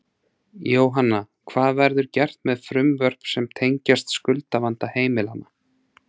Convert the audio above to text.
Jóhanna, hvað verður gert með frumvörp sem tengjast skuldavanda heimilanna?